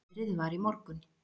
Veðrið var í morgun.